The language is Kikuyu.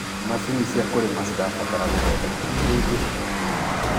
macinĩ cia kũrĩmi cirabatara guthondekwo hĩndĩ o hĩndĩ